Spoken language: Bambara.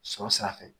Sɔrɔ sira fɛ